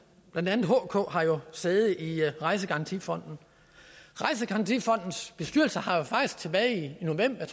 blandt andet hk har jo sæde i rejsegarantifonden rejsegarantifondens bestyrelse har jo faktisk tilbage i november jeg